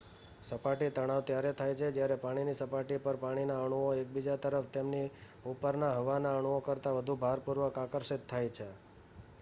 સપાટી તણાવ ત્યારે થાય છે કે જ્યારે પાણીની સપાટી પરના પાણીના અણુઓ એકબીજા તરફ તેમની ઉપરના હવાના અણુઓ કરતા વધુ ભારપૂર્વક આકર્ષિત થાય છે